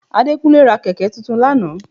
Adékúnlé ra kẹ̀kẹ́ tuntun lánàá